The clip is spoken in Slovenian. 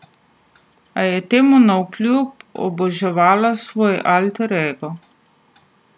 A je temu navkljub oboževala svoj alter ego.